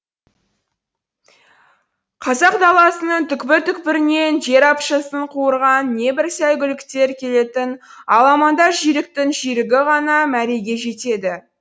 қазақ даласының түкпір түкпірінен жер апшысын қуырған небір сәйгүліктер келетін аламанда жүйріктің жүйрігі ғана мәреге жетеді